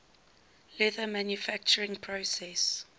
leather manufacturing process